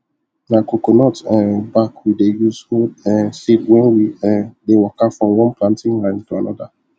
na coconut um back we dey use hold um seed when we um dey waka from one planting line to another